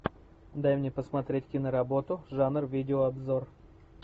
дай мне посмотреть киноработу жанр видеообзор